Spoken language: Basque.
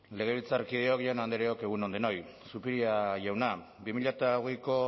legebiltzarkideok jaun andreok egun on denoi zupiria jauna bi mila hogeiko